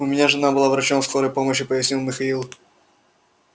у меня жена была врачом скорой помощи пояснил михаил